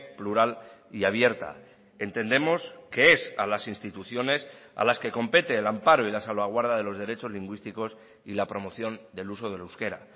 plural y abierta entendemos que es a las instituciones a las que compete el amparo y la salvaguarda de los derechos lingüísticos y la promoción del uso del euskera